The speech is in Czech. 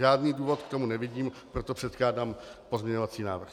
Žádný důvod k tomu nevidím, proto předkládám pozměňovací návrh.